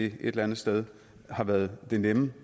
et eller andet sted har været den nemme